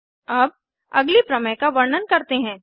अब अगली प्रमेय का वर्णन करते हैं